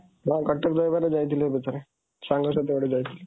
କଟକ ଦହିବରା ଥିଲି ଏବେ ଥରେ, ସାଙ୍ଗ ସହିତ ଗୋଟେ ଯାଇଥିଲି।